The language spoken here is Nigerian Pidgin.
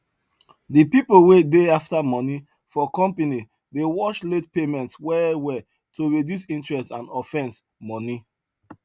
the pipo wey dey after money for company dey watch late payments well well to reduce interest and offence money